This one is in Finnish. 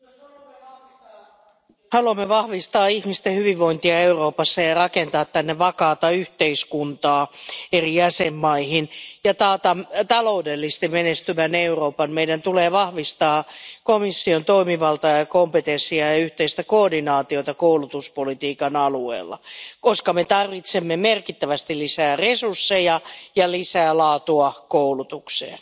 Arvoisa puhemies, jos haluamme vahvistaa ihmisten hyvinvointia Euroopassa, rakentaa vakaata yhteiskuntaa eri jäsenmaihin ja taata taloudellisesti menestyvän Euroopan, meidän tulee vahvistaa komission toimivaltaa ja kompetenssia ja yhteistä koordinaatiota koulutuspolitiikan alueella, koska tarvitsemme merkittävästi lisää resursseja ja lisää laatua koulutukseen.